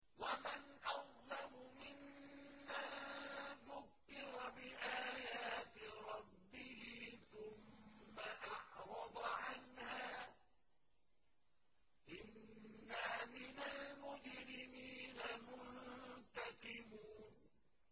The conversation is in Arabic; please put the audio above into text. وَمَنْ أَظْلَمُ مِمَّن ذُكِّرَ بِآيَاتِ رَبِّهِ ثُمَّ أَعْرَضَ عَنْهَا ۚ إِنَّا مِنَ الْمُجْرِمِينَ مُنتَقِمُونَ